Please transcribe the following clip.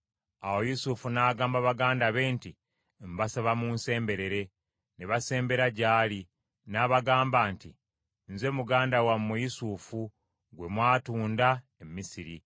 Awo Yusufu n’agamba baganda be nti, “Mbasaba munsemberere.” Ne basembera gy’ali. N’abagamba nti, “Nze muganda wammwe Yusufu gwe mwatunda e Misiri.